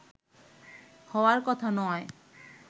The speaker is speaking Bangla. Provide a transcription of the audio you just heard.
হওয়ার কথা নয়